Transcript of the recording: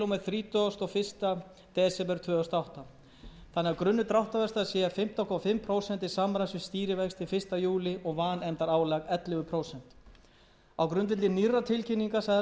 að grunnur dráttarvaxta sé fimmtán og hálft prósent til samræmis við stýrivexti fyrsta júlí og vanefndaálag ellefu prósent á grundvelli nýrrar tilkynningar seðlabankans frá sextánda desember síðastliðnum